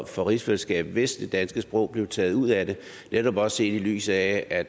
for rigsfællesskabet hvis det danske sprog blev taget ud af det netop også set i lyset af at